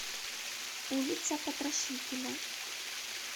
улица потрошителя